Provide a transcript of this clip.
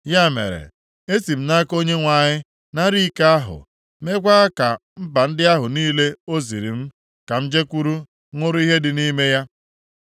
Ya mere, esi m nʼaka Onyenwe anyị nara iko ahụ, meekwa ka mba ndị ahụ niile o ziri m ka m jekwuru ṅụrụ ihe dị nʼime ya.